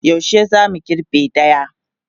Yaushe za mu girbe daya?